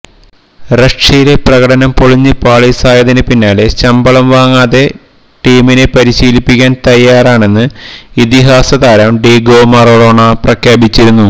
റഷ്യയിലെ പ്രകടനം പൊളിഞ്ഞ് പാളീസായതിന് പിന്നാലെ ശമ്പളം വാങ്ങാതെ ടീമിനെ പരിശീലിപ്പിക്കാന് തയ്യാറാണെന്ന് ഇതിഹാസ താരം ഡീഗോ മറഡോണ പ്രഖ്യാപിച്ചിരുന്നു